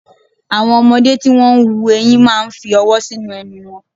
Àwọn ọmọdé tí wón ń hu ẹyin máa ń fi ọwọ́ sínú ẹnu wọn.